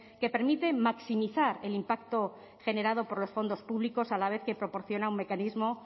que permita maximizar el impacto generado por los fondos públicos a la vez que proporciona un mecanismo